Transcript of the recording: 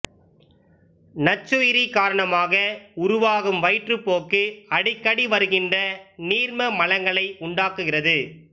நச்சுயிரி காரணமாக உருவாகும் வயிற்றுப் போக்கு அடிக்கடி வருகின்ற நீர்ம மலங்களை உண்டாக்குகிறது